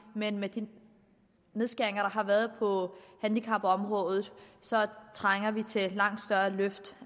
men med de nedskæringer der har været på handicapområdet trænger vi til et langt større løft